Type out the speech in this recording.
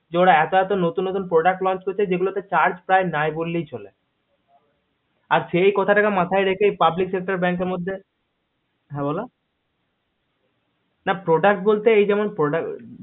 এই যে ওরা এত এত নতুন নতুন product launch করছে যেগুলোতে charge প্রায় নেই বললেই চলে আর সেই কথা টাকে মাথায় রেখে public sector bank এর মধ্যে হা বল্লা product বলতে